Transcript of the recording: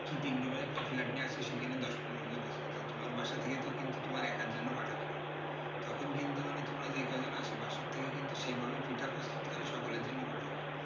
কি তিন room এর একটা flat নিয়ে আছে সেখানে দশ পনেরো জন আছো, তা তোমার বাসা থেকে তো কিন্তু তোমার একার জন্যে পাঠাবে না। তখন কিন্তু তোমরা যেই কয়জন আছো বাসা থেকে কিন্তু সেই ভাবেই পিঠা প্রস্তুত করে সকলের জন্যই পাঠাবে।